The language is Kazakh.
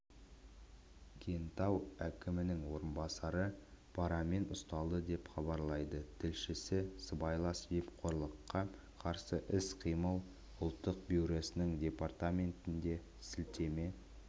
кентау әкімінің орынбасары парамен ұсталды деп хабарлайды тілшісі сыбайлас жемқорлыққа қарсы іс-қимыл ұлттық бюросының департаментіне сілтеме